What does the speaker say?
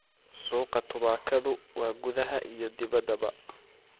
Suuqa tubaakadu waa gudaha iyo dibaddaba.